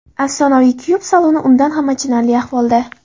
Afsonaviy kupe saloni undan ham achinarli ahvolda.